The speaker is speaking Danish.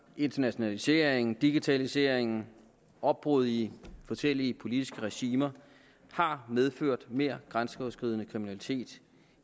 internationaliseringen digitaliseringen opbruddet i forskellige politiske regimer har medført mere grænseoverskridende kriminalitet